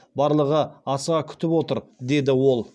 барлығы асыға күтіп отыр деді ол